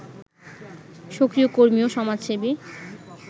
সক্রিয় কর্মী ও সমাজসেবী